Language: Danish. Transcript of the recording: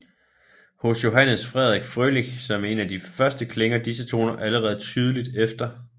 Hos Johannes Frederik Frølich som en af de første klinger disse toner allerede tydeligt efter